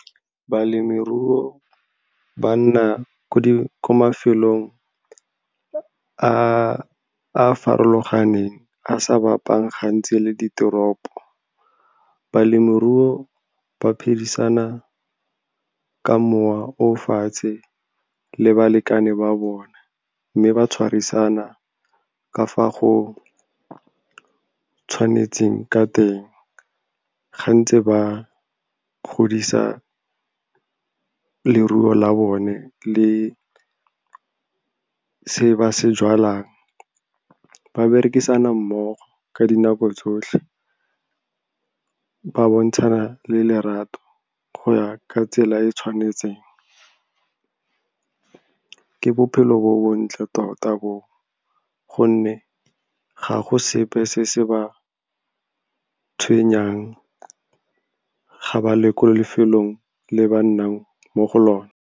Balemirui banna ko mafelong a a farologaneng a sa bapang gantsi le ditoropo. Balemirui ba phedisana ka mowa o o fatshe le balekane ba bona, mme ba tshwarisana ka fa go tshwanetseng ka teng. Gantsi ba godisa leruo la bone le se ba se jalang. Ba berekisana mmogo ka dinako tsotlhe, ba bontshana le lerato go ya ka tsela e e tshwanetseng. Ke bophelo bo bontle tota bo, gonne ga go sepe se se ba tshwenyang ga ba le ko lefelong le ba nnang mo go lone.